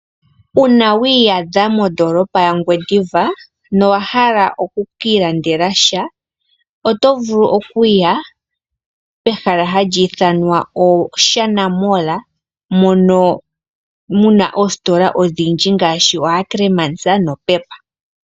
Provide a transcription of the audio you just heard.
Uuna wa iyadha mondolopa ya Ngwediva no wa hala oku ka ilandela sha? Oto vulu okuya pehala hali ithanwa Oshana mall, mono muna oositola odhindji ngaashi oAckerman na Pep.